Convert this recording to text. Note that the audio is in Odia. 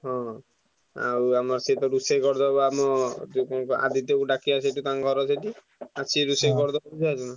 ହଁ ଆଉ ଆମର ସେ ତ ରୋଷେଇ କରିଦବ ଆମ ଯୋଉ କଣ ବା ଆଦିତ୍ୟକୁ ଡାକିଆ ସେଠି ତାଙ୍କ ଘର ସେଠି ଆଉ ସିଏ ରୋଷେଇ କରିଦବ ବୁଝିପାରୁଛନା?